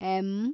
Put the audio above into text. M